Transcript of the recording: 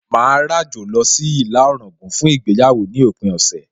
Màá ràjò lọ sí ìlà Ọ̀ràngún fún ìgbéyàwó ní òpin ọ̀sẹ̀